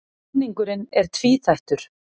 Samningurinn er tvíþættur